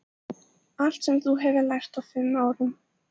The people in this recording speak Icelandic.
Allt sem þú hefur lært á fimm árum.